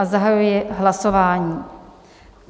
A zahajuji hlasování.